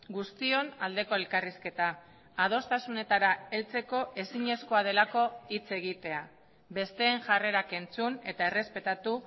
guztion aldeko elkarrizketa adostasunetara heltzeko ezinezkoa delako hitz egitea besteen jarrerak entzun eta errespetatu